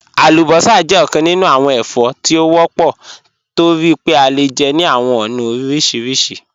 Alúbọ́sá jẹ̀ ọkàn nínú awọn ẹ̀fọ́ tí wọ́pọ̀ tó rí pé à le jẹ́ ní awọn ọ̀na orísírísì.